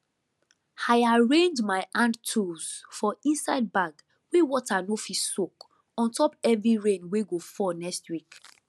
i arrange my handtools for inside bag wey water no fit soak ontop heavy rain wey go fall next week